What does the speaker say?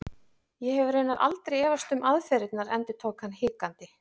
Ég hef raunar aldrei efast um aðferðirnar endurtók hann hikandi.